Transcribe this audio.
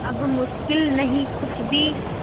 अब मुश्किल नहीं कुछ भी